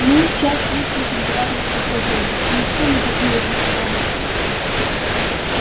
мы часть личных императорских владений и никто не посмеет нас тронуть